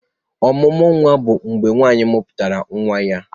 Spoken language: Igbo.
Ọmụmụ nwa bụ mgbe nwaanyị mụputara nwa ya.